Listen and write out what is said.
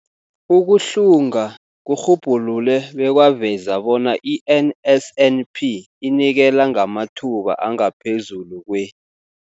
Ukuhlunga kurhubhulule bekwaveza bona i-NSNP inikela ngamathuba angaphezulu kwe-